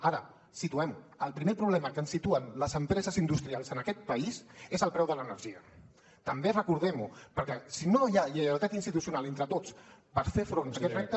ara situem el primer problema que ens situen les empreses industrials en aquest país és el preu de l’energia també recordem ho perquè si no hi ha lleialtat institucional entre tots per fer front a aquest repte